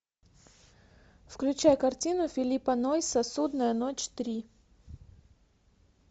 включай картину филлипа нойса судная ночь три